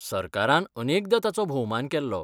सरकारान अनेकदां ताचो भोवमान केल्लो.